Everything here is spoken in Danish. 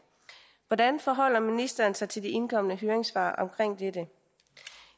hvordan forholder ministeren sig til de indkomne høringssvar omkring dette